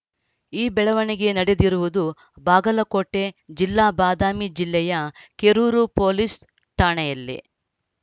ಈ ಬೆಳವಣಿಗೆ ನಡೆದಿರುವುದು ಬಾಗಲಕೋಟೆ ಜಿಲ್ಲೆ ಬಾದಾಮಿ ಜಿಲ್ಲೆಯ ಕೆರೂರು ಪೊಲೀಸ್‌ ಠಾಣೆಯಲ್ಲಿ